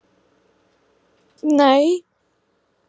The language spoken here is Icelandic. Alda Rós.